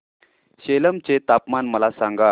सेलम चे तापमान मला सांगा